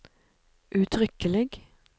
uttrykkelig